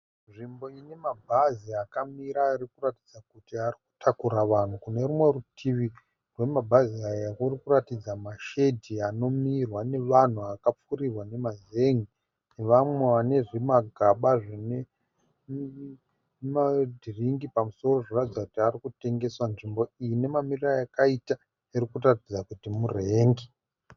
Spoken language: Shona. Nzvimbo inema bhazi akamira arikuratidza kuti arikutakura vanhu . Kunerimwe rutivi rwemabhazi aya kurikuratidza mashedhi anomirwa nevanhu akapfirirwa nema zen'e nevamwe vane zvimagaba zvinema dhiriki pamusoro. Zvinoratidza Kuti ari kutengeswa. Nzvimbo iyi nemamiriro ayakaita inoratidza kuti mu rank.